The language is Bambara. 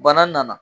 Bana nana